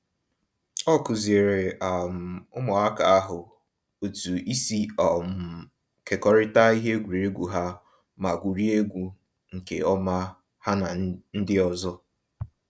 Ọ kuziere um ụmụaka ahụ otu isi um kekọrịta ihe egwuregwu ha ma gwuriegwu nke ọma ha na ndị ọzọ